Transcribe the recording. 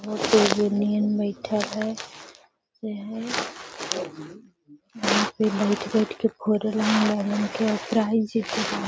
बहुत ही यूनियन बैठल हेय यहां पे बैठ-बैठ के --